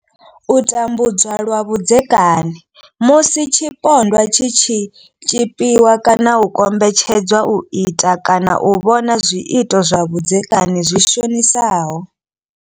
U tambudzwa lwa vhudzekani musi tshipondwa tshi tshi tshipiwa kana u kombetshedzwa u ita kana u vhona zwiito zwa vhudzekani zwi shonisaho.